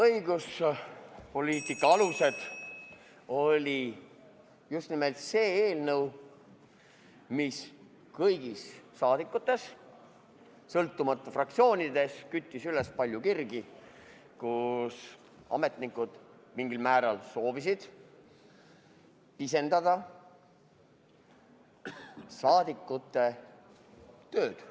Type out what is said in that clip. Õigusloomepoliitika alused oli just nimelt see eelnõu, mis kõigis saadikutes, sõltumata fraktsioonist, küttis üles palju kirgi ja mille puhul ametnikud soovisid mingil määral pisendada rahvasaadikute tööd.